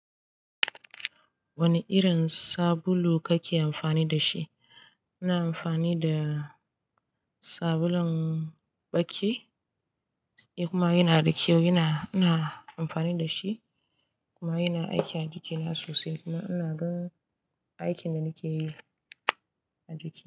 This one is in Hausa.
Wane irin sabulu kake amfani da shi? Ina amfani da sabulun ɓaki, kuma yana da kyau. Ina, ina amfani da shi kuma yana aiki a jikina sosai. Kuma ina gan aikin da nake yi a jiki.